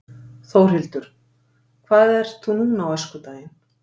Þórhildur: Hvað ert þú núna á öskudaginn?